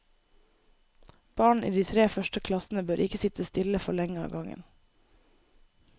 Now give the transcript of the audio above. Barn i de tre første klassene bør ikke sitte stille for lenge av gangen.